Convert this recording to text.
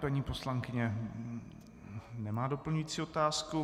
Paní poslankyně nemá doplňující otázku.